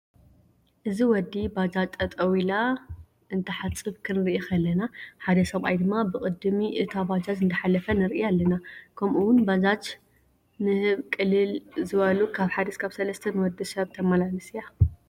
እዚ ወዲ ባጀጅ ጠጠው ኢላ እንታሓፅብ ክንርኢ ከለና ሓደ ሰብኣይ ድማ ብቅዲም እታ ባጃጅ እዳሓለፈ ንርኢ አለና። ከም እውን ባጃጅ ንህዝ ቅልሊ ዝበሉ ካብ 1-3 ንውድሰብ ተማላልስ እያ።